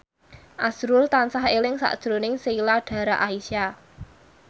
azrul tansah eling sakjroning Sheila Dara Aisha